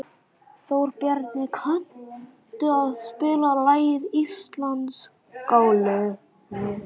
Þórbjarni, kanntu að spila lagið „Íslandsgálgi“?